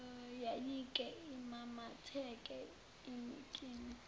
yayike imamatheke inikine